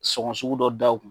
Sɔngɔ sugu dɔ da o kun